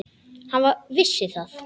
Hann vissi það.